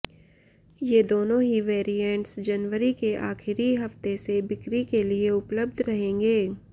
ये दोनों ही वेरिएंट्स जनवरी के आखिरी हफ्ते से बिक्री के लिए उपलब्ध रहेंगे